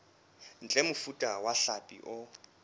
ntle mofuta wa hlapi o